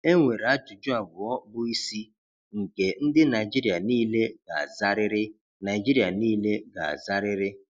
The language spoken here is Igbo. Enwere ajụjụ abụọ bụ isi nke ndị Naijiria niile ga-azarịrị. Naijiria niile ga-azarịrị.